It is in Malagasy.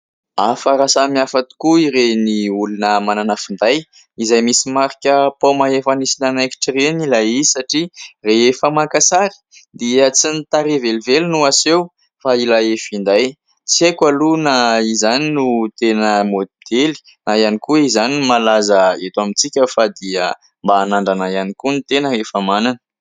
Hafa ary samihafa tokoa ireny olona manana finday izay misy marika "paoma efa nisy nanaikitra" ireny ilay izy satria rehefa maka sary dia tsy ny tarehy velively no aseho fa ilay finday. Tsy aiko aloha na izany no tena modely na ihany koa izany no malaza eto amintsika fa dia mba hanandrana ihany koa ny tena rehefa manana.